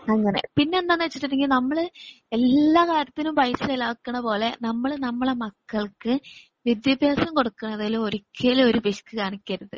അങ്ങനെ പിന്നെന്താണ് വെച്ചുട്ടുണ്ടെകിൽ നമ്മള് എല്ലാ കാര്യത്തിനും പൈസ ചെലവാക്കണ പോലെ നമ്മളെ നമ്മളെ മക്കൾക്ക് വിത്യാഭ്യസം കൊടുക്കാണതില് ഒരിക്കലും ഒരു പിശുക്ക് കാണിക്കരുത്.